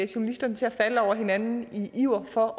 journalisterne til at falde over hinanden i iver for